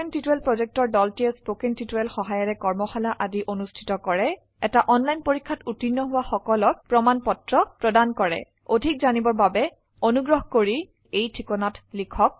কথন শিক্ষণ প্ৰকল্পৰ দলটিয়ে কথন শিক্ষণ সহায়িকাৰে কৰ্মশালা আদি অনুষ্ঠিত কৰে এটা অনলাইন পৰীক্ষাত উত্তীৰ্ণ হোৱা সকলক প্ৰমাণ পত্ৰ প্ৰদান কৰে অধিক জানিবৰ বাবে অনুগ্ৰহ কৰি contactspoken tutorialorg এই ঠিকনাত লিখক